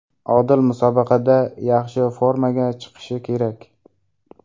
Odil musobaqada yaxshi formaga chiqishi kerak.